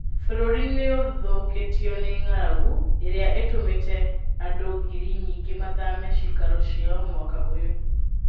Bũrũrĩ nĩũthũkĩtio nĩ ng'aragu ĩrĩa ĩtũmĩte andũngiri nyingĩ mathame ciikaro ciao mwaka ũyũ.